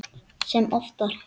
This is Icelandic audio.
Sem oftar.